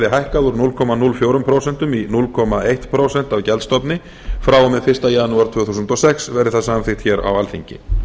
hækkað úr núll komma núll fjögur prósent í núll komma eitt prósent af gjaldstofni frá og með fyrsta janúar tvö þúsund og sex verði það samþykkt á alþingi